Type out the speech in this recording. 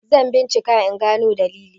zan bincika in gano dalili!